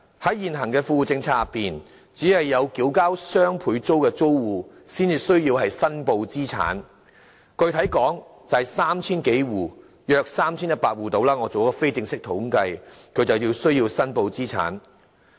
在現行的富戶政策之下，只有支付雙倍租金的租戶才需要申報資產，我做了非正式統計，具體而言，約有 3,100 戶需要申報資產。